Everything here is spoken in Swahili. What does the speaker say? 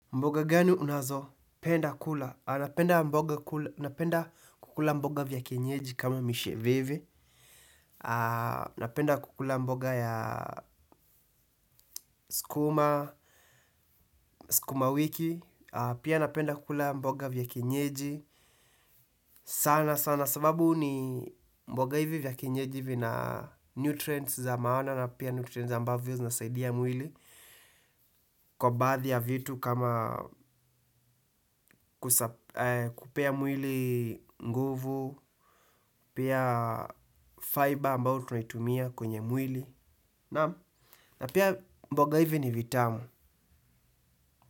Mboga gani unazo? Penda kula. Napenda kukula mboga vya kenyeji kama misheveve. A napenda kukula mboga ya skuma, skuma wiki. Pia napenda kukula mboga vya kienyeji. Sana sana sababu ni mboga hivi vya kienyeji vina nutrients za maana na pia nutrients ambavyo zinasaidia mwili. Kwa baadhi ya vitu kama kupea mwili nguvu. Pia fiber ambao tunaitumia kwenye mwili. Na pia mboga hivi ni vitamu.